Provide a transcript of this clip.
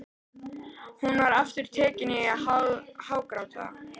Hún var aftur tekin að hágráta.